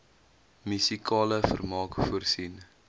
musikale vermaak voorsien